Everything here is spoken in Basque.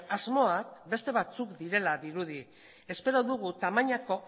asmoak beste batzuk direla dirudi espero dugu tamainako